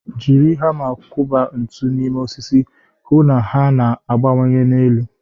Jiri hama kwọba ntu n'ime osisi, hụ na ha na-agbanye n'elu.